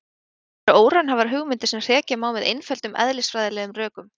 Þetta eru óraunhæfar hugmyndir sem hrekja má með einföldum eðlisfræðilegum rökum.